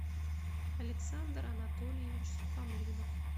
александр анатольевич сухомлинов